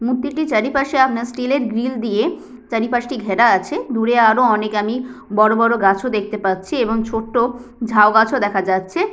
মূর্তিটির চারিপাশে আপনার স্টিল এর গ্রিল দিয়ে চারিপাশটি ঘেরা আছে দূরে আরও অনেক আমি বড় বড় গাছও দেখতে পাচ্ছি এবং ছোট্ট ঝাউ গাছও দেখা যাচ্ছে।